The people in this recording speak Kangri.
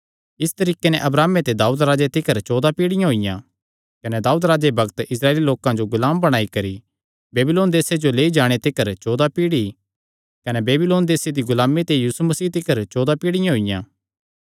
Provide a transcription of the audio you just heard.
इस तरीके नैं अब्राहमे ते दाऊदे तिकर चौदा पीढ़ियाँ होईयां कने दाऊदे ते बेबीलोन देसे जो कैदी होई नैं पजाणे तिकर चौदा पीढ़ी कने कैदी होई नैं बेबीलोने जो पजाणे दे बग्ते ते लेई नैं मसीह तिकर चौदा पीढ़ियाँ होईयां